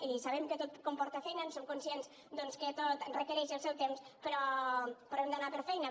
i sabem que tot comporta feina en som conscients que tot requereix el seu temps però hem d’anar per feina